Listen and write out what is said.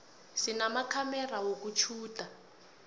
sinamakhamera wokutjhuda